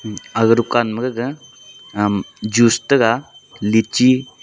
aga dukan ma gaga juice taga litchi .